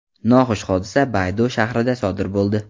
Noxush hodisa Baydoa shahrida sodir bo‘ldi.